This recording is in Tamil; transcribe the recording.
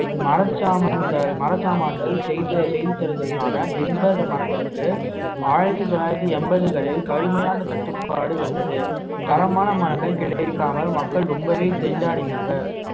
மரச்சாமான்கள் மரச்சாமான்கள் செய்து செய்து தருவதற்கான பிம்ப மரங்களுக்கு ஆயிரத்தி தொள்ளாயிரத்தி எண்பதுகளில் கடுமையான தட்டுப்பாடு வந்தது தரமான மரங்கள் கிடைக்காமல் மக்கள் ரொம்பவே திண்டாடினாங்க